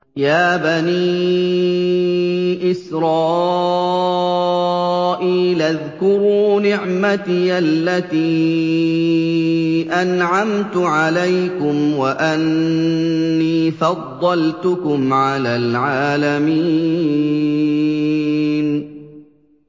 يَا بَنِي إِسْرَائِيلَ اذْكُرُوا نِعْمَتِيَ الَّتِي أَنْعَمْتُ عَلَيْكُمْ وَأَنِّي فَضَّلْتُكُمْ عَلَى الْعَالَمِينَ